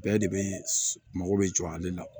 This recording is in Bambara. Bɛɛ de bɛ mako bɛ jɔ ale la